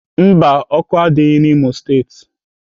Mba, ọkụ adịghị n'Imo steeti.